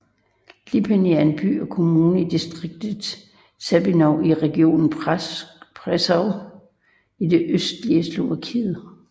Lipany er en by og kommune i distriktet Sabinov i regionen Prešov i det østlige Slovakiet